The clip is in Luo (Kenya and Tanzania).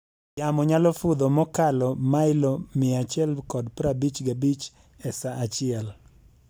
Yamo nyalo fudho mokalo mailo 155 e saa achiel.